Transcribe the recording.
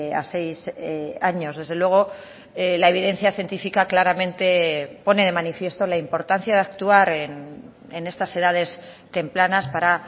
a seis años desde luego la evidencia científica claramente pone de manifiesto la importancia de actuar en estas edades tempranas para